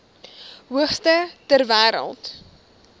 hoogste ter wêreld